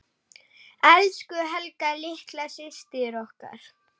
Elsku Helga litla systir okkar.